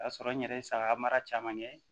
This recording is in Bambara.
O y'a sɔrɔ n yɛrɛ ye saga mara caman kɛ